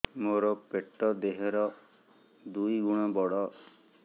ମୋର ପେଟ ଦେହ ର ଦୁଇ ଗୁଣ ବଡ